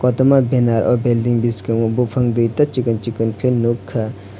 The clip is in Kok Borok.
kotoma bannner o building biskango buphang duita chikon chikon ke nukha.